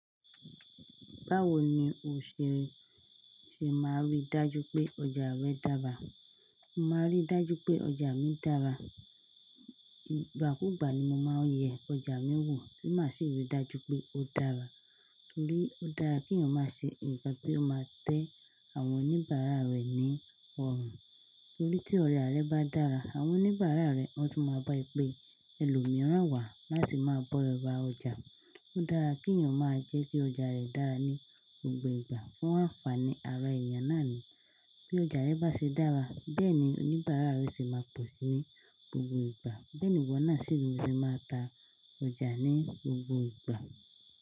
Báwo ni o ṣe máa n rí dájú pé ọjà rẹ dára? Mo máa n rí dájú pé ọjà mi dára. Ìgbà kú gbà ni mo máa n yẹ ọjà mi wò, tì máa sì ri dájú pé ó dára. Torí ó dára kí èèyàn máa ṣe nkan tí ó máa tẹ́ àwọn oníbàárà rẹ̀ ní ọ̀rùn. Torí tí ọjà rẹ bá dára, àwọn oníbàárà rẹ wón tun máa bá ẹ pé ẹlòmíràn wà láti máa bọ́ ra ọjà. Ó dára kí èèyàn máa jẹ́ kí ọjà rẹ̀ dára ní gbogbo ìgbà fún ànfàní ara èèyàn náà ni. Bí ọjà rẹ bá ṣe dára, bẹ́ẹ̀ ni oníbàárà rẹ sì máa pọ̀ sí í ní gbogbo ìgbà. Beeni iwo na se máa ta ọjà ní gbogbo ìgbà.